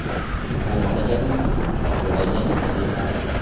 bu mamlakatimiz uchun butunlay yangi tajriba.